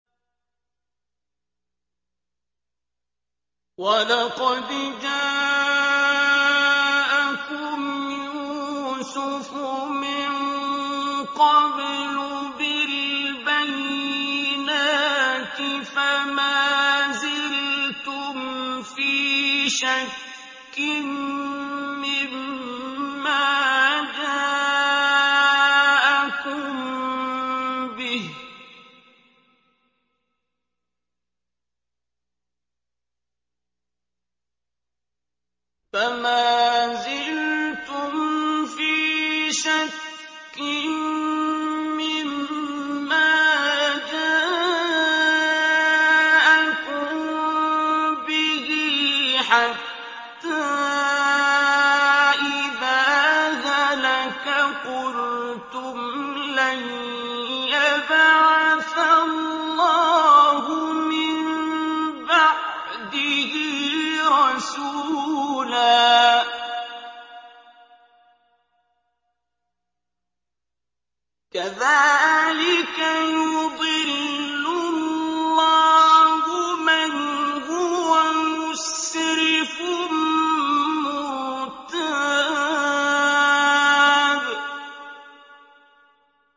وَلَقَدْ جَاءَكُمْ يُوسُفُ مِن قَبْلُ بِالْبَيِّنَاتِ فَمَا زِلْتُمْ فِي شَكٍّ مِّمَّا جَاءَكُم بِهِ ۖ حَتَّىٰ إِذَا هَلَكَ قُلْتُمْ لَن يَبْعَثَ اللَّهُ مِن بَعْدِهِ رَسُولًا ۚ كَذَٰلِكَ يُضِلُّ اللَّهُ مَنْ هُوَ مُسْرِفٌ مُّرْتَابٌ